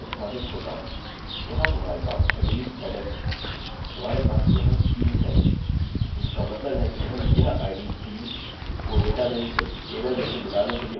यहाँ हमारे पास emily headen है हमारे पास यहाँ 3 है जिसका मतलब है कि हम यह id 3 को डेटाबेस बल्कि टेबल में से मिटाने के लिए उपयोग कर सकते हैं